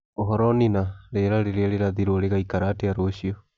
uhoro Nina rĩera rĩrĩa rirathirwo rĩgaĩkara atĩa rucio